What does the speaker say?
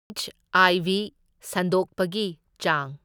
H I V ꯁꯟꯗꯣꯛꯄꯒꯤ ꯆꯥꯡ꯫